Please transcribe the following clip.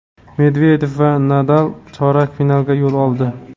Medvedev va Nadal chorak finalga yo‘l oldi.